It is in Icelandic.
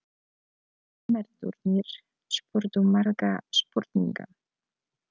Nemendurnir spurðu margra spurninga.